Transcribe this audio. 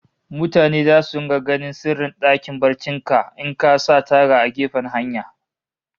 Mutane zasu rika ganin sirrin dakin barcin ka in ka sa taga a gefen hanya